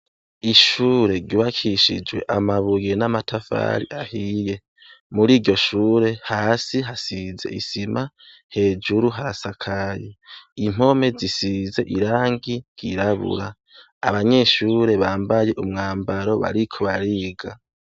Ishure ribakishijwe amabuye n'amatafari ahiye muri iryo shure hasi hasize isima hejuru harasakayi impome zisize irangi girabura abanyeshure bambaye umwambaro barikubariga.